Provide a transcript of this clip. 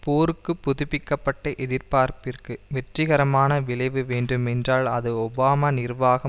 போருக்கு புதுப்பிக்க பட்ட எதிர்பார்ப்பிற்கு வெற்றிகரமான விளைவு வேண்டும் என்றால் அது ஒபாமா நிர்வாகம்